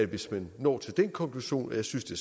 hvis man når til den konklusion jeg synes det